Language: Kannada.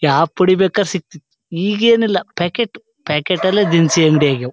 ಯಾವ್ ಪುಡಿ ಬೇಕಾರ್ ಸಿಗ್ತಿತ್ತು. ಈಗ ಏನಿಲ್ಲಾ ಪ್ಯಾಕೇಟು . ಪ್ಯಾಕೇಟ ಲ್ಲೇ ದಿನಸಿ ಅಂಗಡಿ ಆಗ್ಯವ್.